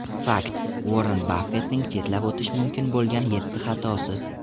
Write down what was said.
Fakt: Uorren Baffettning chetlab o‘tish mumkin bo‘lgan yetti xatosi.